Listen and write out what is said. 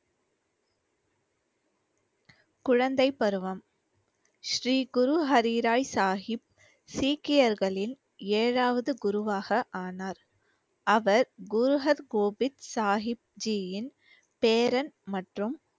குழந்தைப்பருவம் ஸ்ரீகுரு ஹரி ராய் சாகிப் சீக்கியர்களின் ஏழாவது குருவாக ஆனார் அவர் குரு ஹர் கோபிந்த் சாகிப் ஜியின் பேரன் மற்றும்